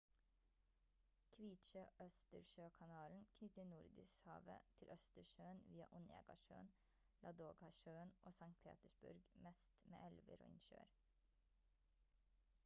kvitsjø-østersjøkanalen knytter nordishavet til østersjøen via onega-sjøen ladoga-sjøen og st petersburg mest med elver og innsjøer